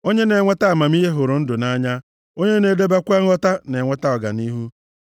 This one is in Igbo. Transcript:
Onye na-enweta amamihe hụrụ ndụ nʼanya, onye na-edebekwa nghọta na-enweta ọganihu.